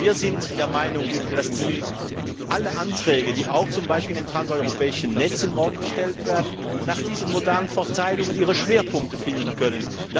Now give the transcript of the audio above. Denn wir sind der Meinung, dass alle Anträge, die auch zum Beispiel zu den transeuropäischen Netzen morgen gestellt werden, nach diesen modalen Verteilungen ihre Schwerpunkte finden können.